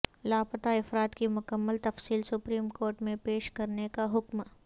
لاپتا افراد کی مکمل تفصیل سپریم کورٹ میں پیش کرنے کا حکم